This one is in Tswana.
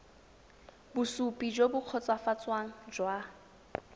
bosupi jo bo kgotsofatsang jwa